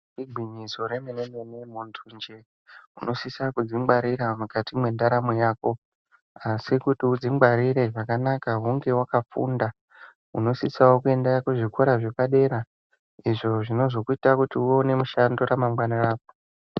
Igwinyiso remene-mene, muntunje unosise kudzingwarira mukati mendaramo yako. Asi kuti udzingwarire zvakanaka hunge wakafunda. Unosisawo kuenda kuzvikora zvapadera izvo zvinozoita kuti uone mushando muneramangwana rako.